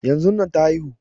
Yanzun nan ta haihu